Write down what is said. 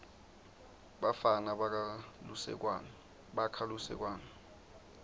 bafana bakha lusekwane